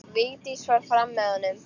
Vigdís fór fram með honum.